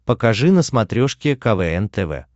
покажи на смотрешке квн тв